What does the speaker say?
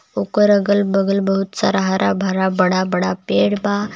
ओकर अगल बगल बहुत सारा हरा भरा बड़ा बड़ा पेड़ बा।